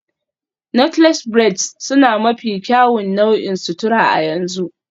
Knotless braids sune mafi kyawun nau'in sutura a yanzu